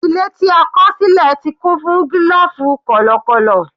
Ilé tí a kọ̀ sílẹ̀ ti kún fún gílòfù kọ̀lọ̀kọ̀lọ̀.